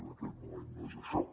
en aquest moment no és això